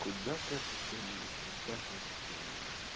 куда катится мир куда катится мир